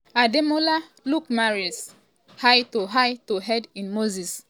ademola lookmanrise high to high to head in moses